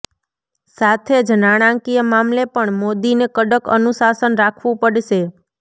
સાથે જ નાણાંકીય મામલે પણ મોદીને કડક અનુશાસન રાખવું પડશે